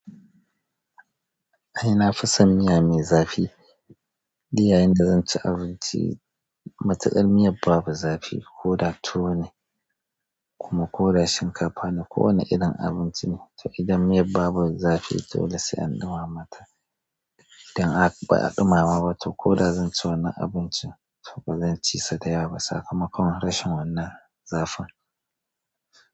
Ai nafison miya me zafi, duk yayin da zan ci abinci, matuƙar miyan babu zafi ko da tuwo ne kuma ko da shinkafa ne ko wane irin abinci ne, to idan miyan babu zafi dole sai an ɗumama ta. Idan ba a ɗumama ba to ko da zan ci wannan abincin to bazan ci sa dayawa ba, sakamakon rashin wannan zafin.